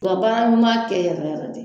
Ka baara ɲuman kɛ yɛrɛ yɛrɛ de.